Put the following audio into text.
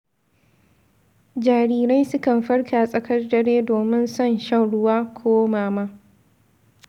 Jarirai sukan farka tsakar dare domin son shan ruwa ko mama.